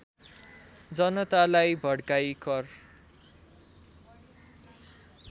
जनतालाई भड्काई कर